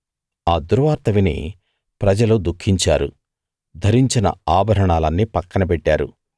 ఆ దుర్వార్త విని ప్రజలు దుఃఖించారు ధరించిన ఆభరణాలన్నీ పక్కనబెట్టారు